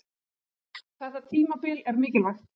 Þetta tímabil er mikilvægt.